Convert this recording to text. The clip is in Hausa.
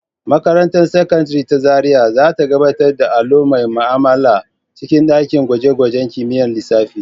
Makarantar Sakandare ta Zariya za ta gabatar da allo mai ma'amala a cikin ɗakin gwaje-gwajen kimiyyar lissafi.